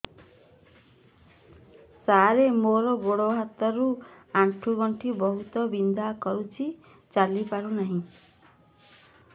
ସାର ମୋର ଗୋଡ ହାତ ର ଆଣ୍ଠୁ ଗଣ୍ଠି ବହୁତ ବିନ୍ଧା କରୁଛି ଚାଲି ପାରୁନାହିଁ